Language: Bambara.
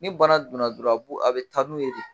Ni bana donna dɔrɔn a bɛ taa n'u ye de